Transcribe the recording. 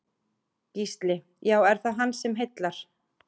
Gísli: Já, er það hann sem heillar?